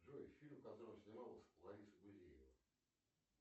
джой фильм в котором снималась лариса гузеева